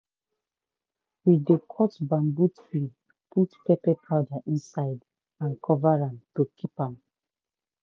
we dey cut bamboo tree put pepper powder inside and cover am to keep am.